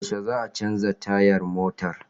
Yaushe zaka canza tayar motar?